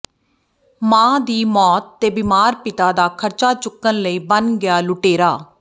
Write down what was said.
ਮਾਂ ਦੀ ਮੌਤ ਤੇ ਬਿਮਾਰ ਪਿਤਾ ਦਾ ਖ਼ਰਚਾ ਚੁੱਕਣ ਲਈ ਬਣ ਗਿਆ ਲੁਟੇਰਾ